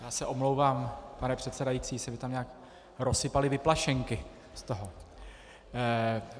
Já se omlouvám, pane předsedající, se mi tam nějak rozsypaly vyplašenky z toho...